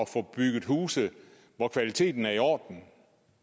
få bygget huse hvor kvaliteten er i orden